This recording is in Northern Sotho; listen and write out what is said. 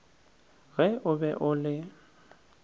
ge o be o le